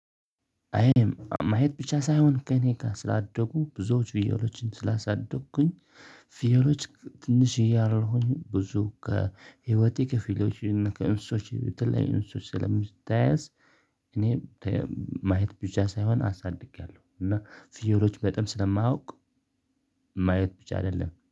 አይም ማየት ብቻ ሳይሆን ከእኔ ጋር ስላደጉ ብዙዎቹ ፍየሎችን ስላሳደጉኝ ፍየሎች ትንሽዬ እያለሁኝ ብዙ ከህይወቴ ክፍሎች እና ከእንስሶች ከተለያዩ እንስሶች ስለምትያያዝ እኔ ማየት ብቻ ሳይሆን አሳድጌያለሁ እና ፍየሎች በጣም ስለማውቅ ማየት ብቻ አይደለም።